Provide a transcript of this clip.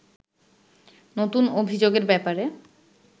নতুন অভিযোগের ব্যাপারে